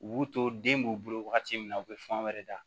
U b'u to den b'u bolo wagati min na u bɛ fan wɛrɛ da